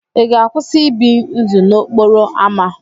Ị ga-akwụsị ị bi ndụ n'okporo ámá?